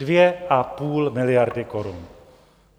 Dvě a půl miliardy korun.